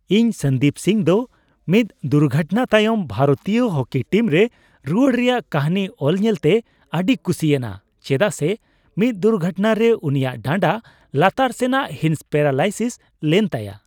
ᱤᱧ ᱥᱚᱱᱫᱤᱯ ᱥᱤᱝ ᱫᱚ ᱢᱤᱫ ᱫᱩᱨᱷᱚᱴᱱᱟ ᱛᱟᱭᱚᱢ ᱵᱷᱟᱨᱚᱛᱤᱭᱚ ᱦᱳᱠᱤ ᱴᱤᱢ ᱨᱮ ᱨᱩᱣᱟᱹᱲ ᱨᱮᱭᱟᱜ ᱠᱟᱹᱦᱱᱤ ᱚᱞ ᱧᱮᱞᱛᱮ ᱟᱹᱰᱤᱭ ᱠᱩᱥᱤᱭᱮᱱᱟ, ᱪᱮᱫᱟᱜ ᱥᱮ ᱢᱤᱫ ᱫᱩᱨᱜᱷᱚᱴᱱᱟ ᱨᱮ ᱩᱱᱤᱭᱟᱜ ᱰᱟᱸᱰᱟ ᱞᱟᱛᱟᱨ ᱥᱮᱱᱟᱜ ᱦᱤᱸᱥ ᱯᱮᱨᱟᱞᱟᱭᱥᱤᱥ ᱞᱮᱱ ᱛᱟᱭᱟ ᱾